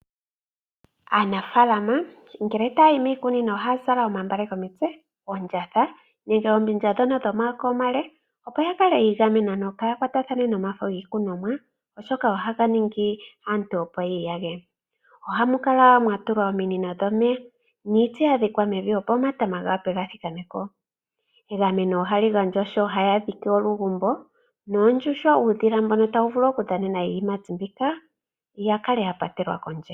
Aanafaalama ngele taya yi miikunino ohaya zala omagala komitse, oondjatha nenge oombindja dhomayaaka omale, opo ya kale yi igamena kaya kwatathane nomafo giikunomwa, oshoka ohaga ningi aantu yi iyage. Ohamu kala mwa tulwa ominino dhomeya niiti ya dhikwa mevi, opo omatama ga thikame ko. Egameno ohali gandjwa sho haya dhike olugombo noondjuhwa, uudhila mbono tawu vulu okudhanena iiyimati mbika wu kale wa patelwa kondje.